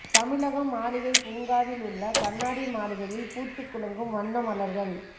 தமிழகம் மாளிகை பூங்காவில் உள்ள கண்ணாடி மாளிகையில் பூத்து குலுங்கும் வண்ண மலர்கள்